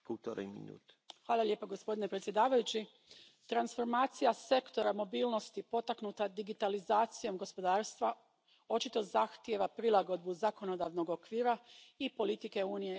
Gospodine predsjedavajući, transformacija sektora mobilnosti potaknuta digitalizacijom gospodarstva očito zahtijeva prilagodbu zakonodavnog okvira i politike Unije na tom području.